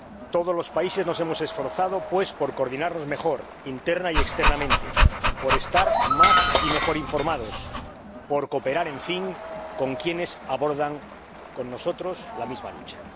Todos los países nos hemos esforzado, pues, por coordinarnos mejor, interna y externamente, por estar más y mejor informados, por cooperar, en fin, con quienes abordan con nosotros la misma lucha.